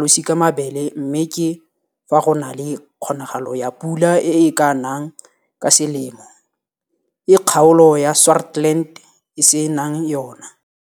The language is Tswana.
losikamabele, mme ke fa go na le kgonagalo ya pula e e ka nang ka selemo, e kgaolo ya Swartland e se nang yona.